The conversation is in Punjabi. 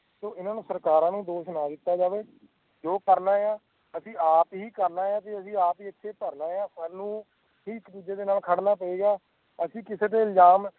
ਤੋਂ ਇਨ੍ਹਾਂ ਸਰਕਾਰਾਂ ਨੂੰ ਦੋਸ਼ ਨਾ ਦਿੱਤੋ ਜਾਵੇ ਜੋ ਕਰਨਾ ਅਸੀਂ ਆਪ ਹੀ ਕਰਨਾ ਹੈ ਅਸੀਂ ਆਪ ਹੀ ਏਤੇ ਭਰਨਾ ਹੈ ਸਾਨੂੰ ਇੱਕ ਦੂਜੇ ਨਾਲ ਖੜਨਾ ਪੈਗਾ ਅਸੀਂ ਕਿਸੇ ਦੇ ਇਲਜਾਮ